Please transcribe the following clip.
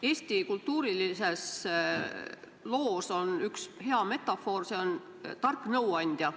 Eesti kultuuriloos on üks hea metafoor, see on tark nõuandja.